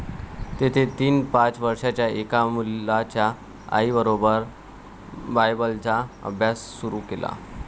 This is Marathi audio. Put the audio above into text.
तेथे तिने पाच वर्षांच्या एका मुलाच्या आईबरोबर बायबलचा अभ्यास सुरू केला.